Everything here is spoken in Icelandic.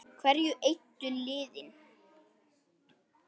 Hverju eyddu liðin?